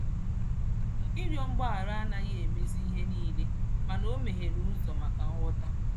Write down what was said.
Ịrịọ mgbaghara anaghị emezi ihe niile, mana o meghere ụzọ maka nghọta.